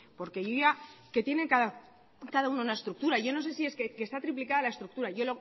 porque ya que tienen cada uno una estructura y yo no sé si es que está triplicada la estructura lo